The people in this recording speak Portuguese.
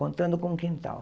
Contando com o quintal.